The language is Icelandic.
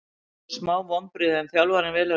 Það voru smá vonbrigði en þjálfarinn velur þetta.